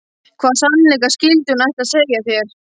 Hvaða sannleika skyldi hún ætla að segja þér?